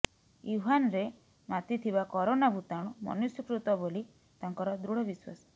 ୟୁହାନ୍ରେ ମାତିଥିବା କରୋନା ଭୂତାଣୁ ମନୁଷ୍ୟକୃତ ବୋଲି ତାଙ୍କର ଦୃଢ଼ ବିଶ୍ୱାସ